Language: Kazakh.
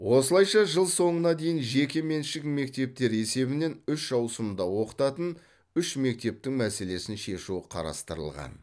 осылайша жыл соңына дейін жекеменшік мектептер есебінен үш ауысымда оқытатын үш мектептің мәселесін шешу қарастырылған